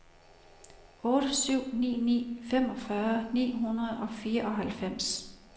otte syv ni ni femogfyrre ni hundrede og fireoghalvfems